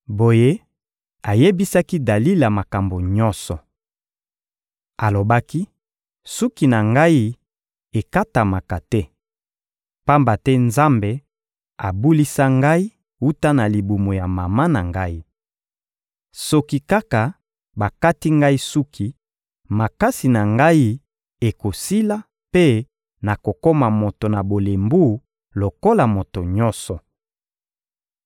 Boye, ayebisaki Dalila makambo nyonso. Alobaki: «Suki na ngai ekatamaka te, pamba te Nzambe abulisa ngai wuta na libumu ya mama na ngai. Soki kaka bakati ngai suki, makasi na ngai ekosila mpe nakokoma moto na bolembu lokola moto nyonso.»